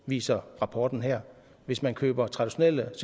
viser rapporten her hvis man køber traditionelt